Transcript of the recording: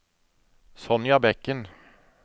Sonja Bekken